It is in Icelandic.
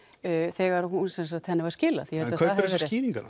þegar henni var skilað en kaupirðu þessar skýringar